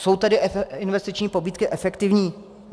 Jsou tedy investiční pobídky efektivní?